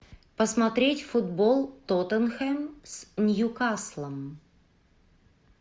посмотреть футбол тоттенхэм с ньюкаслом